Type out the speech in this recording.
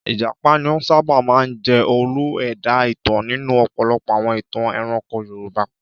Ìjàpá ni ó sábà máa ń jẹ́ olú-ẹ̀dá ìtàn nínú ọ̀pọ̀lọpọ̀ àwọn ìtàn ẹranko Yorùbá.